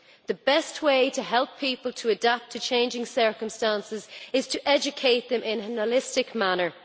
The best way to help people adapt to changing circumstances is to educate them in a holistic manner.